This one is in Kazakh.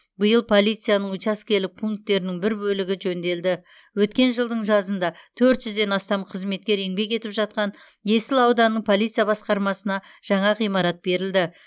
биыл полицияның учаскелік пунктерінің бір бөлігі жөнделді өткен жылдың жазында төрт жүзден астам қызметкер еңбек етіп жатқан есіл ауданының полиция басқармасына жаңа ғимарат берілді